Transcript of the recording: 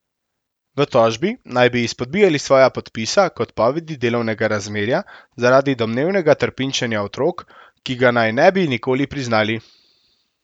V tožbi naj bi izpodbijali svoja podpisa k odpovedi delovnega razmerja zaradi domnevnega trpinčenja otrok, ki ga naj ne bi nikoli priznali.